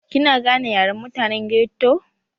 Kina gane Yaren mutane ghetto?